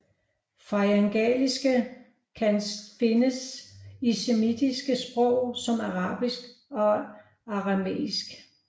Faryngalisering kan findes i semitiske sprog som arabisk og aramæisk